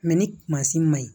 ni ma ɲi